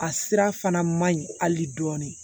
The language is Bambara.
A sira fana man ɲi hali dɔɔni